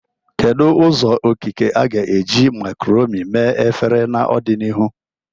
Kedu ụzọ okike a ga-eji macaroni mee efere n'ọdịnihu?